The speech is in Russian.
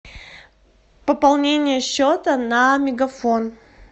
пополнение счета на мегафон